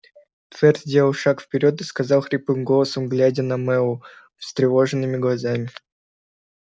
твер сделал шаг вперёд и сказал хриплым голосом глядя на мэллоу встревоженными глазами